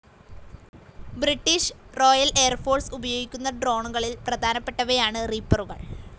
British royal air force ഉപയോഗിക്കുന്ന ഡ്രോണുകളിൽ പ്രധാനപ്പെട്ടവയാണ് റീപ്പറുകൾ.